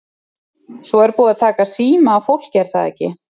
Svo er búið að taka síma af fólki er það ekki?